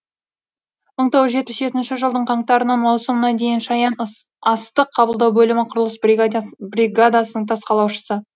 мың тоғыз жүз жетпіс жетінші жылдың қаңтарынан маусымына дейін шаян астық қабылдау бөлімі құрылыс бригадасының тас қалаушысы